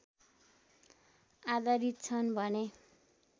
आधारित छन् भने